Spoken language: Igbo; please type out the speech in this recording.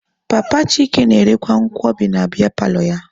Papa Chike na-erekwa nkwobi na biya paalọ ya.